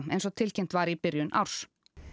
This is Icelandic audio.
eins og tilkynnt var í byrjun árs